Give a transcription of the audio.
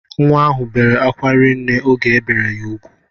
Nwa ahụ bere akwa rinne oge ebere ya ugwu